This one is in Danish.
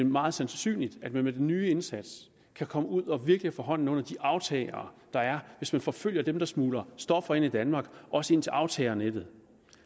meget sandsynligt at man med den nye indsats kan komme ud og virkelig få hånden under de aftagere der er hvis man forfølger dem der smugler stoffer ind i danmark også ind til aftagernettet